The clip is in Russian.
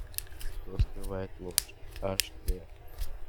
что скрывает ложь аш дэ